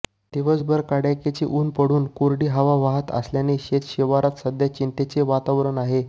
दिवसभर कडाक्याची ऊन पडून कोरडी हवा वाहत असल्याने शेतशिवारात सध्या चिंतेचे वातावरण आहे